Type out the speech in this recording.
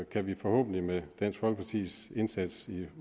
kan vi forhåbentlig med dansk folkepartis indsats i